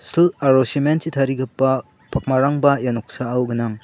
sil aro cement chi tarigipa pakmarangba ia noksao gnang.